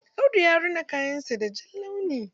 Audu ya rina kayan sa da jan launi.